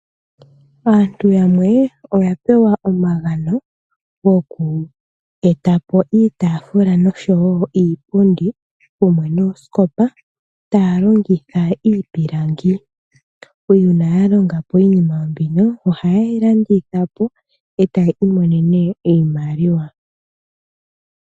Aantu yamwe oya pewa omagano goku eta po iitaafula noshowo iipundi kumwe noosikopa, taya longitha iipilangi. Uuna ya longa po iinima mbino ohaye yi landitha po etaya imonene iimaliwa.